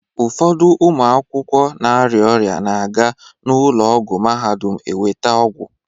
Ụfọdụ ụmụ akwụkwọ na-arịa ọrịa na-aga n'ụlọ ọgwụ Mahadum eweta ọgwụ.